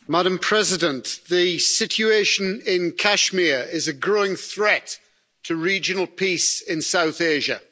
Madam President, the situation in Kashmir is a growing threat to regional peace in South Asia.